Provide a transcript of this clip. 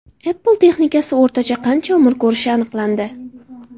Apple texnikasi o‘rtacha qancha umr ko‘rishi aniqlandi.